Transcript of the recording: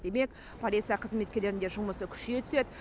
демек полиция қызметкерлерінің де жұмысы күшейе түседі